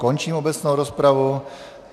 Končím obecnou rozpravu.